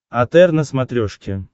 отр на смотрешке